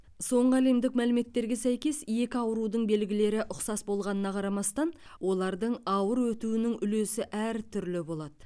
соңғы әлемдік мәліметтерге сәйкес екі аурудың белгілері ұқсас болғанына қарамастан олардың ауыр өтуінің үлесі әр түрлі болады